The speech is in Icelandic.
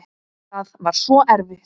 Það var svo erfitt.